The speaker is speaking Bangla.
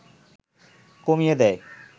কমিয়ে দেয়